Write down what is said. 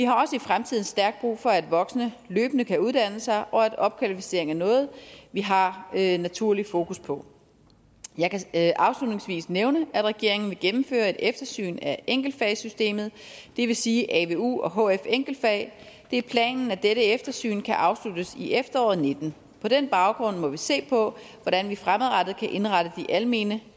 fremtiden stærkt brug for at voksne løbende kan uddanne sig og at opkvalificering er noget vi har en naturlig fokus på jeg kan afslutningsvis nævne at regeringen vil gennemføre et eftersyn af enkeltfagssystemet det vil sige avu og hf enkeltfag det er planen at dette eftersyn kan afsluttes i efteråret og nitten på den baggrund må vi se på hvordan vi fremadrettet kan indrette de almene